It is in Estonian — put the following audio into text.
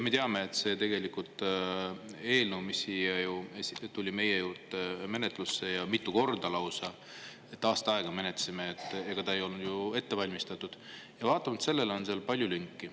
Me teame, et see eelnõu tuli siia meile menetlusse mitu korda, lausa aasta aega me seda menetlesime – ega see ei olnud ju ette valmistatud –, aga vaatamata sellele oli seal palju lünki.